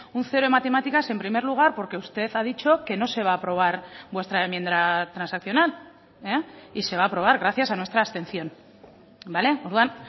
un cero en matemáticas en primer lugar porque usted ha dicho que no se va a aprobar vuestra enmienda transaccional y se va a aprobar gracias a nuestra abstención orduan